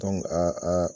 a a